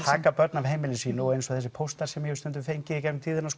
taka börn af heimili sínu og eins og þessir póstar sem ég hef stundum fengið í gegnum tíðina